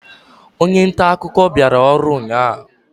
onye nta akụkọ bịara ọrụ ụnyahụ?